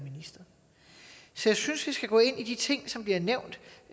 synes at vi skal gå ind i de ting som bliver nævnt